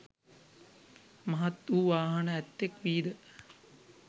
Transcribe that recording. මහත් වූ වාහන ඇත්තෙක් වීද